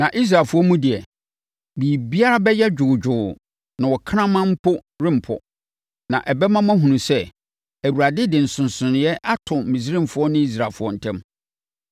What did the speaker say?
Na Israelfoɔ mu deɛ, biribiara bɛyɛ dwoodwoo na ɔkraman mpo rempɔ.’ Na ɛbɛma woahunu sɛ, Awurade de nsonsonoeɛ ato Misraimfoɔ ne Israelfoɔ ntam!